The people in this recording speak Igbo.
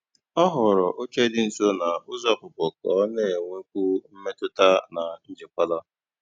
Ọ họ̀ọ̀rọ́ óchè dị́ nsó na ụ́zọ́ ọ́pụ̀pụ́ kà ọ na-ènwékwu mmètụ́tà na njìkwàla.